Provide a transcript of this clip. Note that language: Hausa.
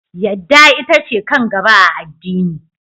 Yadda ita ce kan gaba a addini.